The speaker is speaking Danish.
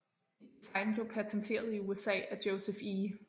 Et design blev panteteret i USA af Joseph E